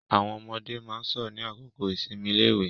Àwọn ọmọde máa ń sọ̀rọ̀ ní àkókò ìsinmi iléèwé.